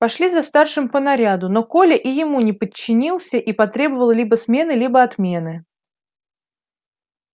пошли за старшим по наряду но коля и ему не подчинился и потребовал либо смены либо отмены